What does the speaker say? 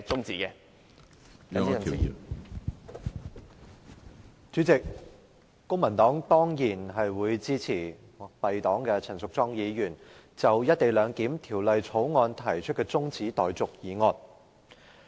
主席，公民黨當然會支持敝黨的陳淑莊議員就《廣深港高鐵條例草案》提出的中止待續議案。